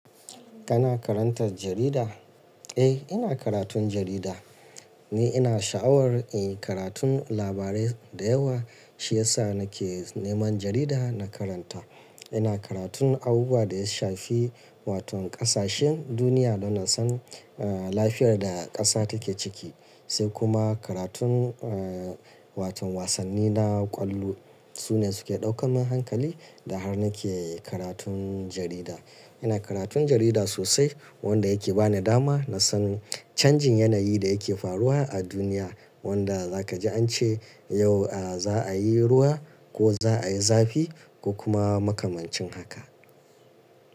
Kana karanta jarida? Eh, ina karatun jarida. Ni ina sha'awar, eh karatun labarai da yawa, shi ya sa nake neman jarida na karanta. Ina karatun abubuwan da ya shafi wato ƙasashen duniya don in san, eh lafiyar da ƙasa take ciki, sai kuma karatun, eh wato wasanni na ƙwallo. Su ne suke ɗaukar min hankali da har nake karatun jarida. Ina karatun jarida sosai wanda yake ba ni dama na san canjin yanayi da yake faruwa a duniya, wanda za ka ji an ce yau, ah za a yi ruwa ko za a yi zafi ko kuma makamancin haka.